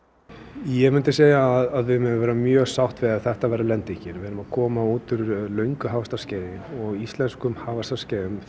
ég segi að við megum vera mjög sátt ef þetta verður lendingin við erum að koma út úr löngu hagvaxtarskeiði og íslenskum hagvaxtarskeiðum